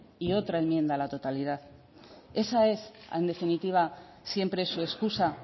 y otra enmienda a la totalidad esa es en definitiva siempre su excusa